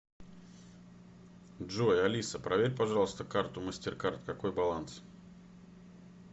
джой алиса проверь пожалуйста карту мастеркард какой баланс